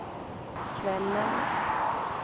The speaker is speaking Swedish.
kvällen